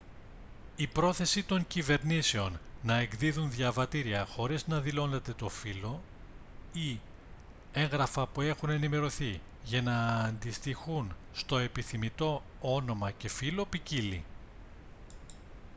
η πρόθεση των κυβερνήσεων να εκδίδουν διαβατήρια χωρίς να δηλώνεται το φύλο χ ή έγγραφα που έχουν ενημερωθεί για να αντιστοιχούν στο επιθυμητό όνομα και φύλο ποικίλλει